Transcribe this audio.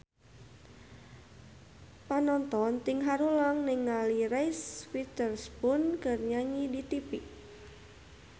Panonton ting haruleng ningali Reese Witherspoon keur nyanyi di tipi